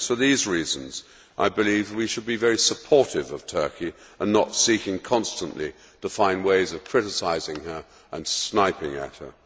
It is for these reasons that I believe we should be very supportive of Turkey and not seek constantly to find ways of criticising her and sniping at her.